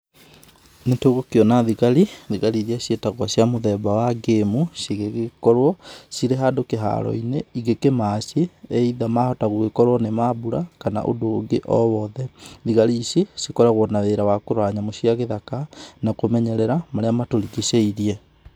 Nĩ tũgũkĩona thĩgarĩ ĩrĩa cĩetagwo cĩa mũthemba wa game cĩgĩkorwo cĩre handũ kĩĩharo-ĩnĩ ĩgĩkĩmatchĩ either mahota gũkĩkorwo nĩ mambũra kana ũndũ ũngĩ ũwothe, thĩgarĩ ĩcĩ cĩkoragwo na wĩra wa kũrora nyamũ cĩa gĩthaka na kũmenyerera marĩa matũrigĩcĩĩrĩe